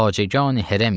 Xacəgəni Hərəmik.